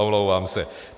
Omlouvám se.